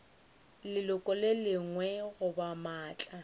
leloko le lengwe goba maatla